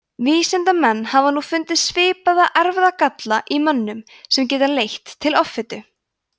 vísindamenn hafa nú fundið svipaða erfðagalla í mönnum sem geta leitt til offitu